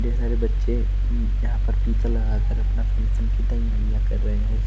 ढेर सारे बच्चे उम्म यहां पर टीका लगाकर अपना फंक्शन की तैयारियां कर रहे हैं।